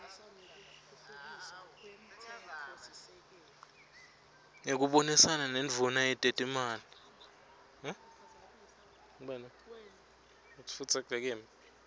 ngekubonisana nendvuna yetetimali